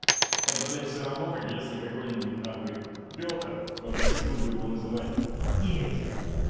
это блядь всё равно если какой-нибудь нахуй пётр попросил бы его называть петя